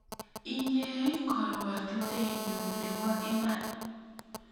Inye ii karuotitoenyu nebo iman